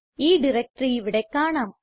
ഈ ഡയറക്ടറി ഇവിടെ കാണാം